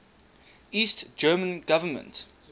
east german government